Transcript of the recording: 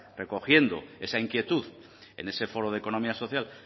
recogiendo esa inquietud en ese foro de economía social